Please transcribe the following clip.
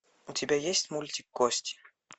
у тебя есть мультик кости